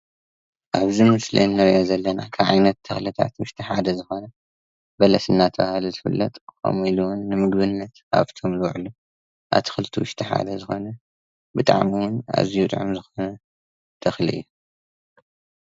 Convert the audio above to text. ኣብዚ ምስሊ እንሪ ዘለና ካብ ዓይነት ተክልታት ውሽጢ ሓደ ዝኮነ በለስ እናተባሃለ ዝፍለጥ ከምኢሉ እውን ንምግብነት ካብ ዝውዕ ኣትክልቲ ውሽጢ ሓደ ዝኮነ ብጣዕሚ እውን ኣዝዩ ጥዑም ተክሊ እዩ።